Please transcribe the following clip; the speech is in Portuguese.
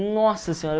Nossa senhora!